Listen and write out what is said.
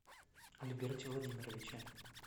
альберте владимировиче